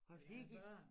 Hvad fik I